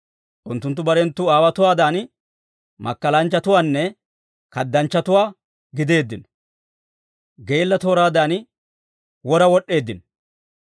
Unttunttu barenttu aawotuwaadan, makkalanchchatuwaanne kaddanchchatuwaa gideeddino. Geella tooraadan wora wod'd'eeddino.